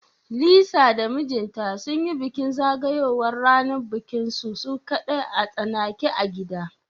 Lisa da mijinta sunyi bikin zagayowar ranar bikinsu su kadai a tsanake a gida